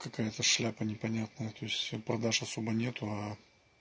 какая-то шляпа непонятная то есть продаж особо нет